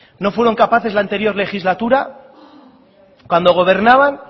no fueron capaces en la anterior legislatura cuando gobernaban